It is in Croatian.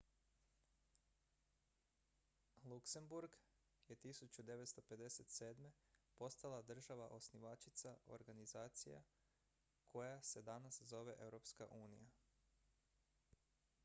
luksemburg je 1957. postala država osnivačica organizacije koja se danas zove europska unija